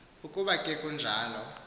ukuba ke kunjalo